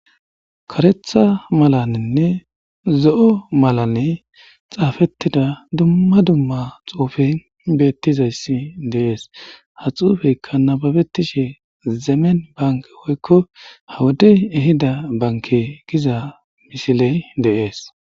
Kareththa malaninne zo'o malani xaafetida dumma dumma xuufe beetizayssi de'ees. Ha xuufekka nababetishe zemen bankki woykko ha wode eyida bankki giza misile de'ees.